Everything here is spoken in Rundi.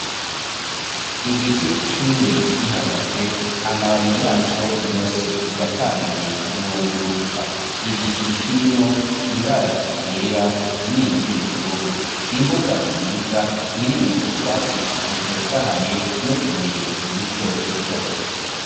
Igiti cumye gihagaze amababi yaco yose yatanguye guhunguruka, igicu kirimwo ibara ryera n'iryubururu, imbuga nziza irimwo utwatsi dutotahaye n'utubuye duto duto.